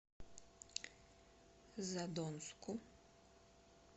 задонску